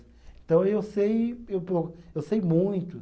Então, eu sei, eu po, eu sei muito.